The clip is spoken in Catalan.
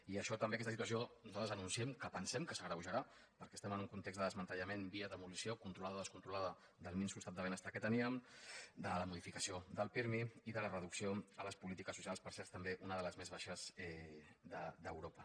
i això també aquesta situació nosal·tres anunciem que pensen que s’agreujarà perquè es·tem en un context de desmantellament via demolició controlada o descontrolada del minso estat del ben·estar que teníem de la modificació del pirmi i de la reducció a les polítiques socials per cert també una de les més baixes d’europa